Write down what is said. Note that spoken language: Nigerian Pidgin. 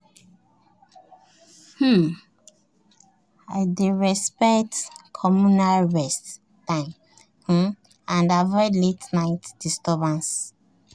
um i dey respect communal rest times um and avoid late-night disturbances.